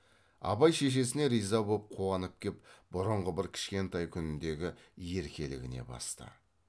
абай шешесіне риза боп қуанып кеп бұрынғы бір кішкентай күніндегі еркелігіне басты